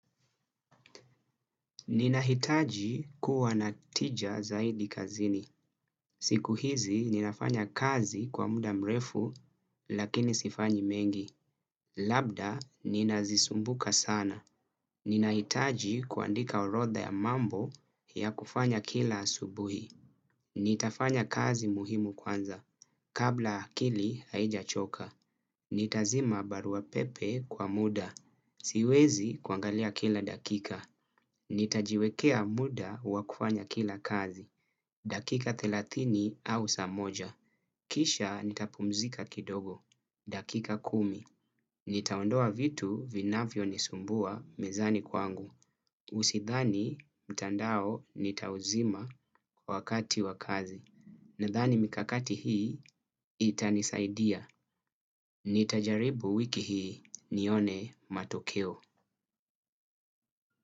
Ninahitaji kuwa na tija zaidi kazini. Siku hizi ninafanya kazi kwa muda mrefu, lakini sifanyi mengi. Labda nina zisumbuka sana. Nina hitaji kuandika orotha ya mambo ya kufanya kila asubuhi. Nitafanya kazi muhimu kwanza. Kabla akili haijachoka. Nitazima barua pepe kwa muda. Siwezi kuangalia kila dakika. Nitajiwekea muda wakuwanya kila kazi. Dakika thelatini au samoja. Kisha nitapumzika kidogo. Dakika kumi. Nitaondoa vitu vinafyo nisumbua mezani kwangu. Usithani mtandao nitauzima wakati wakazi. Na dhani mikakati hii itanisaidia. Nitajaribu wiki hii nione matokeo.